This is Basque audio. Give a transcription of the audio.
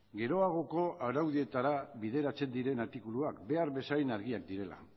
geroagoko araudietara bideratzen diren artikuluak behar bezain argiak direla